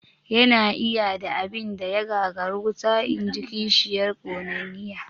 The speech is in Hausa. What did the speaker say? "Ya na iya da abin da ya gagari wuta?", inji kishiyar ƙonanniya